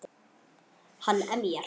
Hann emjar.